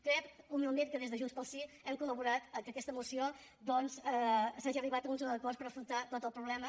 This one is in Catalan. crec humilment que des de junts pel sí hem col·laborat a que a aquesta moció s’hagi arribat a uns acords per afrontar tot el problema